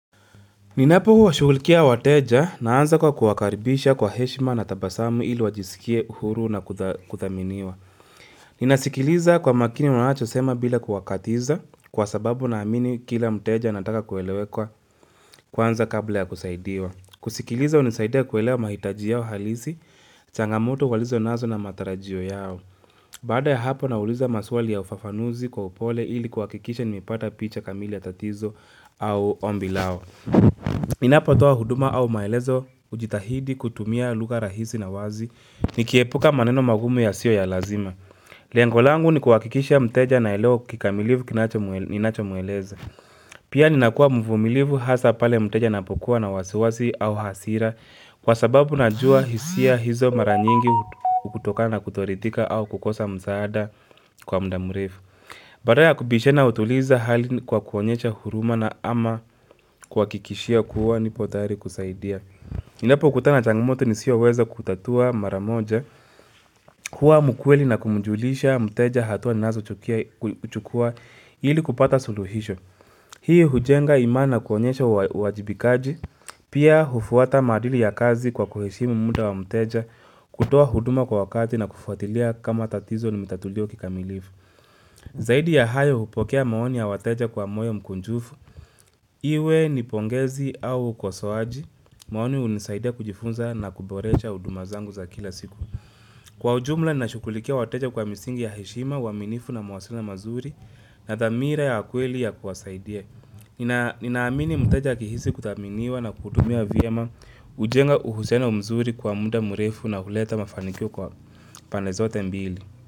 Ninapo huwa shukulikia wateja naanza kwa kuwakaribisha kwa heshima na tabasamu ili wajisikie uhuru na kuthaminiwa. Ninasikiliza kwa makini wanacho sema bila kuwakatiza kwa sababu na amini kila muteja nataka kuelewekwa kwanza kabla ya kusaidiwa. Kusikiliza unisaidia kuelewa mahitaji yao halisi, changamoto walizo nazo na matarajio yao. Badaa ya hapo nauliza maswali ya ufafanuzi kwa upole ili kuakikisha nimepata picha kamili ya tatizo au ombi lao. Ninapo toa huduma au maelezo ujitahidi kutumia lugha rahisi na wazi Nikiepuka maneno magumu ya sio ya lazima Leango langu ni kuwakikisha mteja anaelewa kikamilifu kinacho mueleza Pia ninakua mvumilivu hasa pale mteja na pokua na wasiwasi au hasira Kwa sababu najua hisia hizo maraa nyingi utokana na kutoridhika au kukosa msaada kwa mda mrefu Badala ya kubishana utuliza hali kwa kuonyesha huruma na ama kuakikishia kuwa nipo tayari kusaidia. Ninapo kutana changamoto nisiyo weza kutatua mara moja, huwa mukweli na kumjulisha, muteja hatua nazo chukua ili kupata suluhisho. Hii hujenga imani na kuonyesha uwajibikaji, pia hufuata madili ya kazi kwa kuheshimu muda wa muteja, kutua huduma kwa wakati na kufuatilia kama tatizo ni mitatulio kikamilifu. Zaidi ya hayo upokea maoni ya wateja kwa moyo mkunjufu, iwe nipongezi au kwa ukosoaji, maoni unisaidia kujifunza na kuboresha huduma zangu za kila siku. Kwa ujumla, nashukulikia wateja kwa misingi ya heshima, waminifu na wasiliano mazuri na thamira ya kweli ya kuwasaidia. Ninaamini muteja akihisi kutaminiwa na kutumia vyema ujenga uhusiano mzuri kwa muda murefu na huleta mafanikio kwa pande zote mbili.